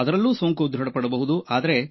ಅವರಲ್ಲೂ ಸೋಂಕು ದೃಢಪಡಬಹುದು